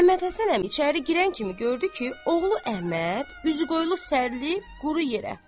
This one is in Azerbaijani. Məmmədhəsən əmi içəri girən kimi gördü ki, oğlu Əhməd üzüqoyulu sərilib quru yerə.